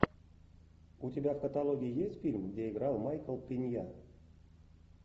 у тебя в каталоге есть фильм где играл майкл пенья